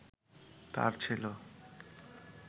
তার ছিল